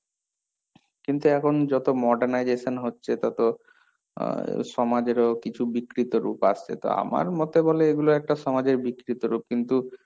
কিন্তু এখন যত modernization হচ্ছে তত আহ সমাজেরও কিছু বিকৃত রূপ আসছে, তো আমার মতে বলে এগুলো একটা সমাজের বিকৃত রূপ, কিন্তু,